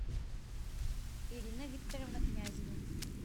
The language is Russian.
ирина викторовна князева